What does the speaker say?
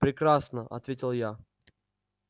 прекрасно ответил я